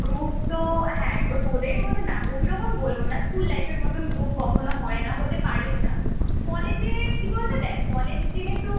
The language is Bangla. group তো হ্যাঁ তোদের মত না ঐরকম বলবো না স্কুল life এর মতন group কখনো হয় না হতে পরেও না কলেজে কি বলতো দেখ কলেজ যেহেতু